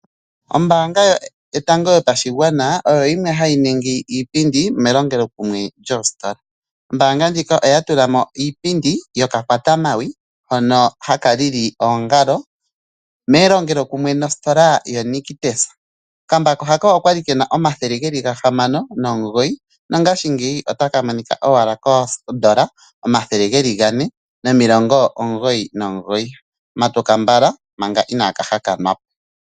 Oombanga yotango yopashigwana oyo yimwe hayi ningi iipindi melongelokumwe noositola oombanga ndjino oya tulamo iipindi yoka kwata mawi hono haka lili oongalo melongelo kumwe nositola yi Nictus okambako haka okwali kena oondola omathele gahamano nomugoyi nongashingeyi otaka monika koodola omathele geli gane matuka mbala .